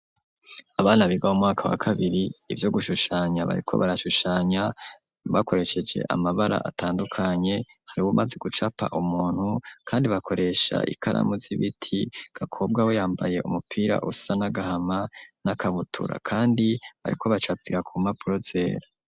Abana biga mumwaka wa kabiri ivyo gushushanya bariko barashushanya bakoresheje amabara atandukanye hari bumaze gucapa umuntu kandi bakoresha ikaramu z'ibiti gakobwa we yambaye umupira usa nagahama nakabutura kandi bariko bacapira ku mpapuro zera.